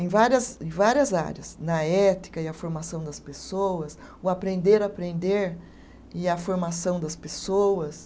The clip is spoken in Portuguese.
em várias, em várias áreas, na ética e a formação das pessoas, o aprender a aprender e a formação das pessoas.